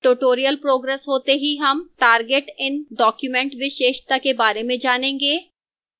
tutorial progresses होते ही हम target in document विशेषता के बारे में जानेंगे